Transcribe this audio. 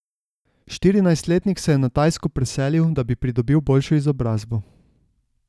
Štirinajstletnik se je na Tajsko preselil, da bi pridobil boljšo izobrazbo.